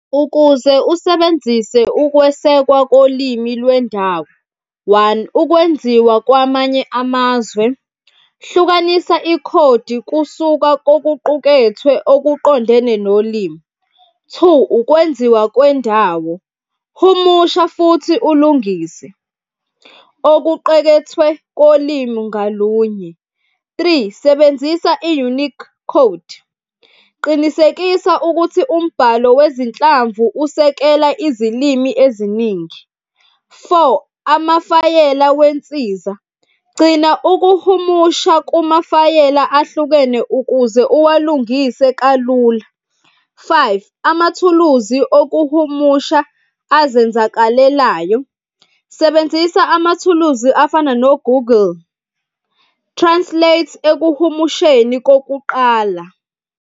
Ukuze usebenzise ukwesekwa kolimi lwendawo, one, ukwenziwa kwamanye amazwe hlukanisa ikhodi kusuka kokuqukethwe okuqondene nolimi. Two, ukwenziwa kwendawo, humusha futhi ulungise okuqekethwe kolimi ngalunye. Three, sebenzisa i-unique code, qinisekisa ukuthi umbhalo wezinhlamvu usekela izilimi eziningi. Four, amafayela wensiza, gcina ukuhumusha kumafayela ahlukene ukuze uwalungise kalula. Five, amathuluzi okuhumusha azenzakalelayo, sebenzisa amathuluzi afana no-Google Translate ekuhumusheni kokuqala.